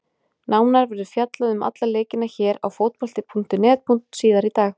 Nánar verður fjallað um alla leikina hér á Fótbolta.net síðar í dag.